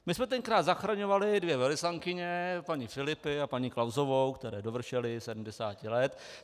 My jsme tenkrát zachraňovali dvě velvyslankyně, paní Filipi a paní Klausovou, které dovršily 70 let.